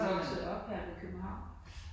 Er du vokset op her i København?